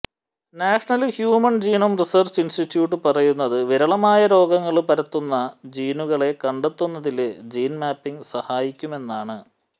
national human genome research institute പറയുന്നത് വിരളമായ രോഗങ്ങള് പരത്തുന്ന ജീനുകളെ കണ്ടെത്തുന്നതില് ജീന് മാപ്പിങ് സഹായിക്കുമെന്നാണ്